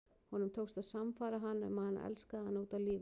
Honum tókst að sannfæra hana um að hann elskaði hana út af lífinu.